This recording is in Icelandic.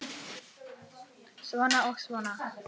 Svona og svona.